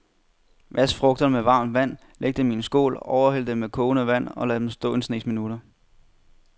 Vask frugterne med varmt vand, læg dem i en skål, overhæld dem med kogende vand og lad dem stå en snes minutter.